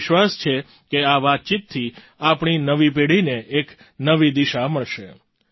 મને વિશ્વાસ છે કે આ વાતચીતથી આપણી નવી પેઢીને એક નવી દિશા મળસે